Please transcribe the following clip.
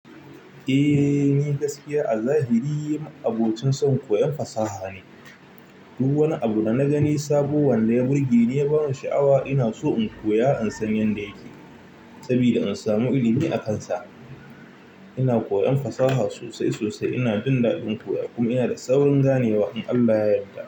Eh, ni gaskiya a zahiri abocin son koyon fasaha ne. Duk wani abu da na gani sabo wanda ya burge ni ya bani sha'awa. Ina so in koya in san yanda yake sabida in samu ilimi akansa. Ina koyan fasaha sosai sosai. Ina jin daɗin koya kuma ina da saurin ganewa in Allah ya yarda.